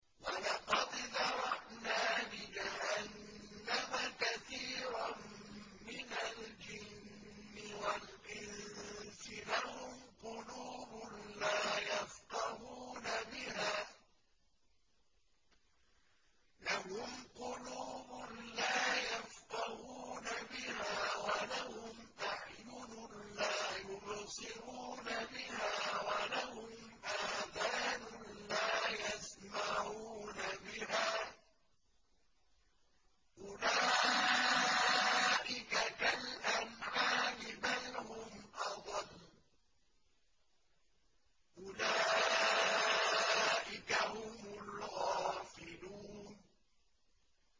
وَلَقَدْ ذَرَأْنَا لِجَهَنَّمَ كَثِيرًا مِّنَ الْجِنِّ وَالْإِنسِ ۖ لَهُمْ قُلُوبٌ لَّا يَفْقَهُونَ بِهَا وَلَهُمْ أَعْيُنٌ لَّا يُبْصِرُونَ بِهَا وَلَهُمْ آذَانٌ لَّا يَسْمَعُونَ بِهَا ۚ أُولَٰئِكَ كَالْأَنْعَامِ بَلْ هُمْ أَضَلُّ ۚ أُولَٰئِكَ هُمُ الْغَافِلُونَ